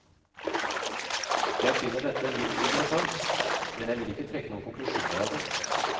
Jeg finner dette litt interessant, men jeg vil ikke trekke noen konklusjoner av det.